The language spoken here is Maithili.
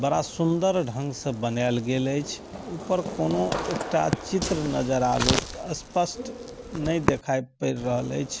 बड़ा सुन्दर ढंग स बनाल गेले एछ ओय पर कुनू एकटा चित्र नज़र आवैत स्पष्ट ने दिखाई पड़ रहल एछ।